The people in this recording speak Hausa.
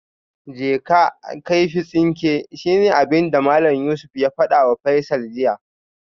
Je ka kaifi tsinke shine abinda Malam Yusuf ya fadawa Faisal jiya